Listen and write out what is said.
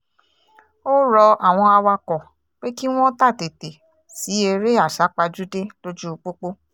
ó rọ àwọn awakọ̀ pé kí wọ́n tàtètè sí eré àsápajúdé lójú pópó